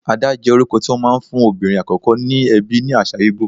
Ada jẹ́ orúkọ tí wón máa ń fún obìnrin àkọ́kọ́ ní ẹbí ní àṣà Ìgbò.